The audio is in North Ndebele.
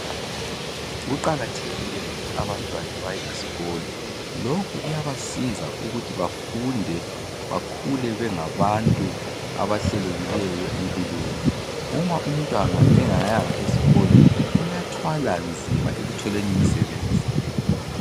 Kuqakathekile ukuthi abantwana baye esikolo lokhu kuyabasiza ukuthi bafunde bakhule bengabantu abahlelekileyo empilweni. Uma umntwana engayanga esikolo uyathwala nzima ekutholeni umsebenzi